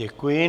Děkuji.